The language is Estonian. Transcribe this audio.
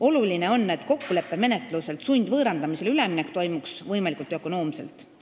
Oluline on, et kokkuleppemenetluselt sundvõõrandamisele üleminek toimuks võimalikult ökonoomselt.